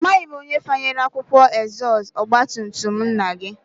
Amaghị m onye fanyere akwụkwọ n'ezọstụ ọgbatumtum nna gị